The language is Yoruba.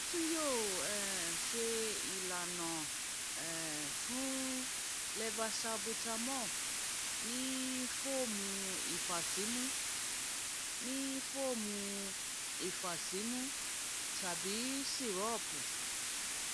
mo tun yoo um ṣe ilana um fun u levosalbutamol ni fọọmu ifasimu ni fọọmu ifasimu tabi sirupu